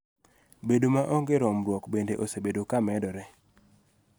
Bedo maonge romruok bende osebedo ka medore